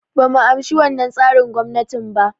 Bumu amshi wannan tsarin gwamnatin ba